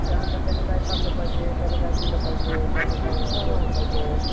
त्यांनतर त्यांनी काय खाल्लं पाहिजे त्यानं काय पिलं पाहिजे जेवलं पाहिजे कोणत्या कोणत्या हुं कोणत्या कोणत्या टायमाला चारलं पाहिजे.